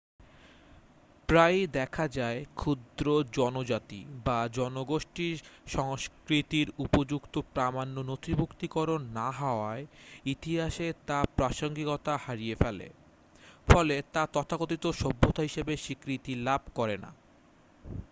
প্রায়ই দেখা যায় ক্ষুদ্র জনজাতি বা জনগোষ্ঠীর সংস্কৃতির উপযুক্ত প্রামাণ্য নথিভুক্তিকরণ না হওয়ায় ইতিহাসে তা প্রাসঙ্গিকতা হারিয়ে ফেলে ফলে তা তথাকথিত সভ্যতা হিসাবে স্বীকৃতি লাভ করে না